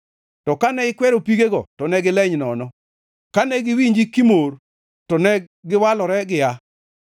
To kane ikwero pigego to ne gileny nono, kane giwinji kimor to ne giwalore gia;